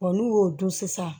n'u y'o dun sisan